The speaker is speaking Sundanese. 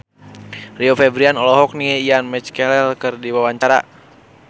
Rio Febrian olohok ningali Ian McKellen keur diwawancara